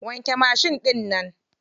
Wanke mashin ɗinnan.